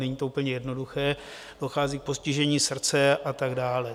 Není to úplně jednoduché, dochází k postižení srdce a tak dále.